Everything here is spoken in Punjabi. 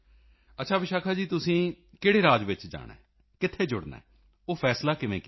ਅੱਛਾ ਵਿਸ਼ਾਖਾ ਜੀ ਤੁਸੀਂ ਕਿਹੜੇ ਰਾਜ ਵਿੱਚ ਜਾਣਾ ਹੈ ਕਿੱਥੇ ਜੁੜਨਾ ਹੈ ਉਹ ਫ਼ੈਸਲਾ ਕਿਵੇਂ ਕੀਤਾ